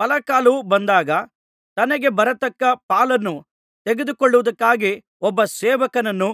ಫಲಕಾಲವು ಬಂದಾಗ ತನಗೆ ಬರತಕ್ಕ ಪಾಲನ್ನು ತೆಗೆದುಕೊಳ್ಳುವುದಕ್ಕಾಗಿ ಒಬ್ಬ ಸೇವಕನನ್ನು